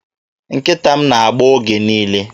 Nkịta m na-agbọ oge niile.